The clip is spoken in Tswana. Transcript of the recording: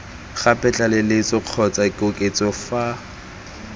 gape tlaleletso kgotsa koketso fa